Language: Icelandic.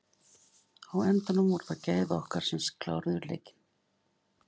Á endanum voru það gæði okkar sem kláruðu leikinn.